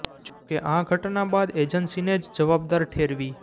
જો કે આ ઘટના બાદ એજન્સીને જ જવાબદાર ઠેરવી